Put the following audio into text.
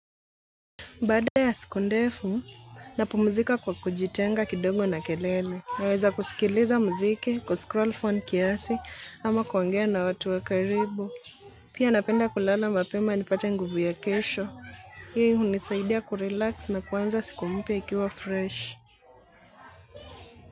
Baada ya siku ndefu, napumzika kwa kujitenga kidogo na kelele. Naweza kusikiliza muziki, kuscroll phone kiasi, ama kuongea na watu wa karibu. Pia napenda kulala mapema nipate nguvu ya kesho. Hiyo hunisaidia kurelax na kuanza siku mpya ikiwa fresh.